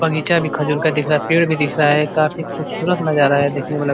बगीचा भी खजूर का दिख रहा है। पेड़ भी दिख रहा है। काफी खूबसूरत नज़ारा है। देखने में --